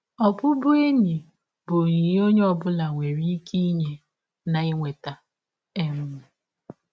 Ọbụbụenyi bụ ọnyịnye ọnye ọ bụla nwere ịke inye na inweta. um